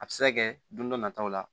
A bɛ se ka kɛ don dɔ nataw la